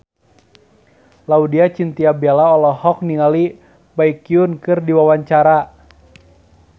Laudya Chintya Bella olohok ningali Baekhyun keur diwawancara